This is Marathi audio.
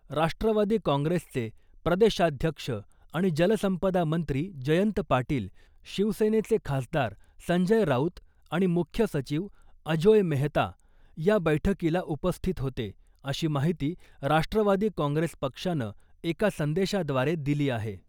राष्ट्रवादी काँग्रेसचे प्रदेशाध्यक्ष आणि जलसंपदा मंत्री जयंत पाटील , शिवसेनेचे खासदार संजय राऊत आणि मुख्य सचिव अजोय मेहता या बैठकीला उपस्थित होते , अशी माहिती राष्ट्रवादी काँग्रेस पक्षानं एका संदेशाद्वारे दिली आहे .